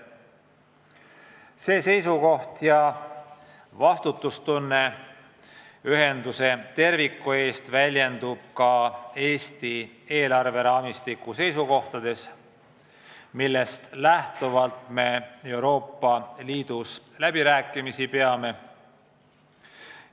See seisukoht ja meiegi tuntav vastutus ühenduse tuleviku eest väljendub ka Eesti eelarveraamistiku seisukohtades, millest lähtuvalt me Euroopa Liidus läbirääkimisi peame.